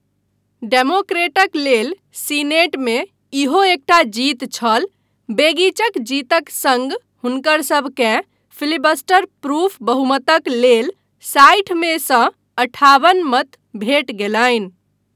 डेमोक्रेटक लेल सीनेटमे इहो एकटा जीत छल, बेगिचक जीतक सङ्ग हुनकर सबकेँ फिलिबस्टर प्रूफ बहुमतक लेल साठि मेसँ अठाबन मत भेटि गेलनि।